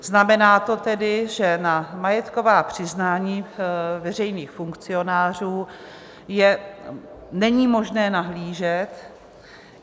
Znamená to tedy, že na majetková přiznání veřejných funkcionářů není možné nahlížet.